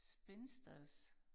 Spinsters